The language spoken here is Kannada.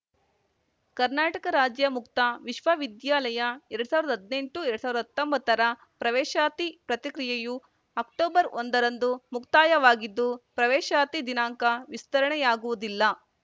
ಕರ್ನಾಟಕ ರಾಜ್ಯ ಮುಕ್ತ ವಿವಿ ಎರಡ್ ಸಾವಿರ್ದಾ ಹದ್ನೆಂಟುಹತ್ತೊಂಬತ್ತರ ಪ್ರವೇಶಾತಿ ಪ್ರಕ್ರಿಯೆಯು ಅಕ್ಟೊಬರ್ಒಂದರಂದು ಮುಕ್ತಾಯವಾಗಿದ್ದು ಪ್ರವೇಶಾತಿ ದಿನಾಂಕ ವಿಸ್ತರಣೆಯಾಗುವುದಿಲ್ಲ